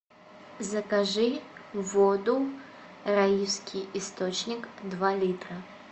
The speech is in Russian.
закажи воду раифский источник два литра